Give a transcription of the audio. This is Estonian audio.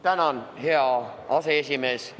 Tänan, hea aseesimees!